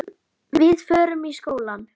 Við förum í skóla.